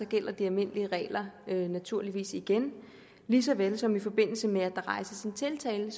gælder de almindelige regler naturligvis igen lige så vel som i forbindelse med at der rejses en tiltale